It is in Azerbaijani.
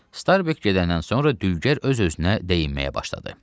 Starbek gedəndən sonra dülgər öz-özünə deyinməyə başladı.